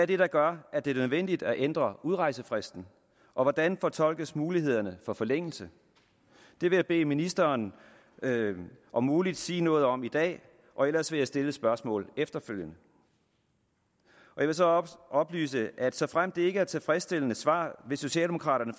det der gør at det er nødvendigt at ændre udrejsefristen og hvordan fortolkes mulighederne for forlængelse det vil jeg bede ministeren om muligt sige noget om i dag og ellers vil jeg stille et spørgsmål efterfølgende jeg vil så oplyse at såfremt det ikke er et tilfredsstillende svar vil socialdemokraterne